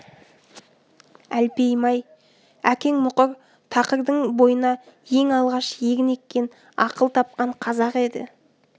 әлпейім-ай әкең мұқыр тақырдың бойына ең алғаш егін еккен ақыл тапқан қазақ еді